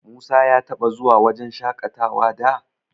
Musa ya taɓa zuwa wajen shaƙatawa da?